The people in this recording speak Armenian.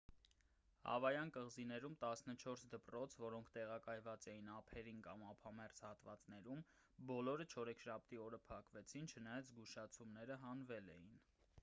հավայան կղզիներում տասնչորս դպրոց որոնք տեղակայված էին ափերին կամ ափամերձ հատվածներում բոլորը չորեքշաբթի օրը փակվեցին չնայած զգուշացումները հանվել էին